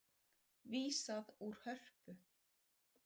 Vísað úr Hörpu